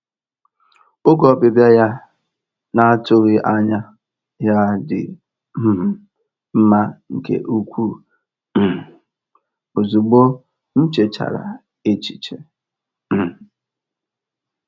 Oge ọbịbịa ya na-atụghị anya ya dị um mma nke ukwuu, um ozịgbọ m nchechara echiche. um